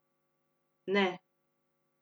Ne.